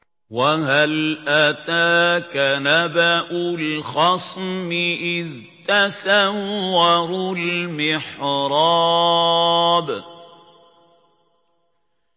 ۞ وَهَلْ أَتَاكَ نَبَأُ الْخَصْمِ إِذْ تَسَوَّرُوا الْمِحْرَابَ